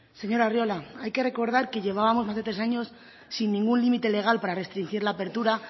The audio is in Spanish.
señor arriola hay que recordar que llevábamos más de tres años sin ningún límite legal para restringir la apertura